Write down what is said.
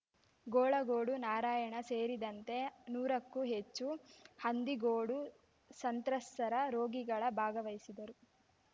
ಗೋಳಗೋಡು ನಾರಾಯಣ ಸೇರಿದಂತೆ ನೂರಕ್ಕೂ ಹೆಚ್ಚು ಹಂದಿಗೋಡು ಸಂತ್ರಸ್ತರ ರೋಗಿಗಳ ಭಾಗವಹಿಸಿದ್ದರು